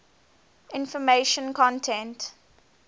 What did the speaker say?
information content